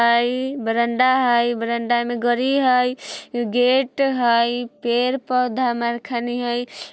हई बरांडा हई बरांडा में गाड़ी हई गेट हई पेड़-पौधा म कनी हई।